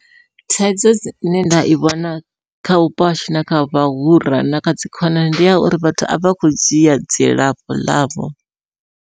Thaidzo dzine nṋe nda i vhona kha vhupo hashu na kha vhahura na kha dzi khonani ndiya uri vhathu a vha kho dzhia dzilafho ḽavho.